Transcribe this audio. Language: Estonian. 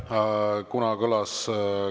Aitäh!